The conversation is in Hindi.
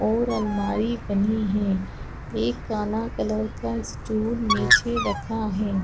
और अलमारी बनी है एक काला कलर का सटुल नीचे रखा है।